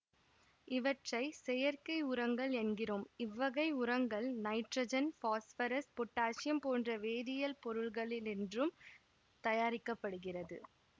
இவற்றை செயற்கை உரங்கள் என்கிறோம் இவ்வகை உரங்கள் நைட்ரசன் பாஸ்பரஸ் பொட்டாசியம் போன்ற வேதியியல் பொருள்களினின்றும் தயாரிக்க படுகிறது